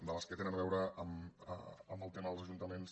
de les que tenen a veure amb el tema dels ajuntaments